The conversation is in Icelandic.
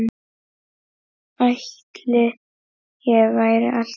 Ætli ég verði alltaf svona?